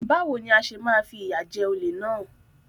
Báwo ni a ṣe máa fìyà jẹ olè náà?